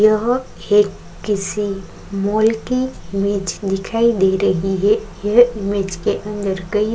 यहाँ एक किसी मल्टी इमेज दिखाई दे रही है यह इमेज के अंदर कई --